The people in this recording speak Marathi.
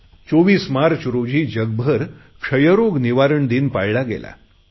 24 मार्च रोजी जगभर क्षयरोग निवारण दिन पाळला गेला